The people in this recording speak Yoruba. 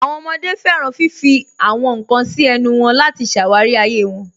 Àwọn ọmọde fẹ́ràn fífì àwọn nkan sí ẹ̀nù wọn láti ṣáwárí ayé wọn.